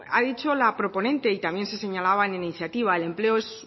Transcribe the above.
ha dicho la proponente y también se señalaba en la iniciativa el empleo es